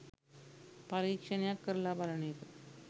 පරීක්ෂණයක් කරලා බලන එක.